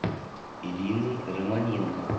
ириной романенко